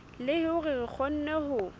le hore re kgone ho